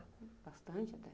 Bastante até.